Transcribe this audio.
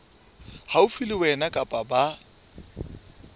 haufi le wena kapa ba